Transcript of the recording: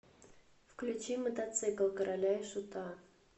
включи мотоцикл короля и шута